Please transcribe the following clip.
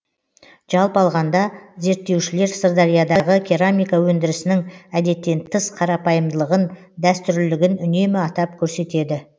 жалпы алғанда зерттеушілер сырдариядағы керамика өндірісінің әдеттен тыс қарапайымдылығын дәстүрлілігін үнемі атап көрсетеді